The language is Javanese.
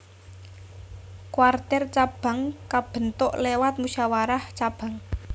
Kwartir cabang kabentuk lewat musyawarah cabang